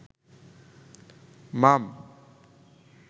মাম